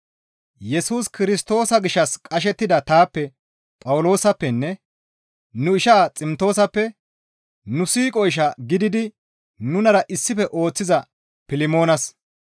Yesus Kirstoosa gishshas qashettida taappe Phawuloosappenne nu ishaa Ximtoosappe nu siiqo ishaa gididi nunara issife ooththiza Pilmoonas,